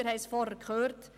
Wir haben es vorhin gehört: